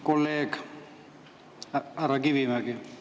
Kolleeg härra Kivimägi!